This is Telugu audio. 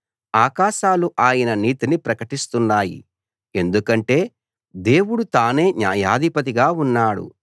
ఆకాశాలు ఆయన నీతిని ప్రకటిస్తున్నాయి ఎందుకంటే దేవుడు తానే న్యాయాధిపతిగా ఉన్నాడు